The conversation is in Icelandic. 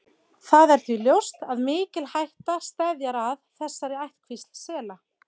Það er því ljóst að mikil hætta steðjar að þessari ættkvísl sela.